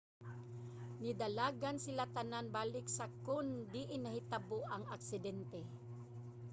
nidalagan sila tanan balik sa kon diin nahitabo ang aksidente